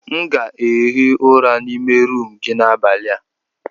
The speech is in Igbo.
M ga-ehi ụra n'ime rumụ gị n'abalị a.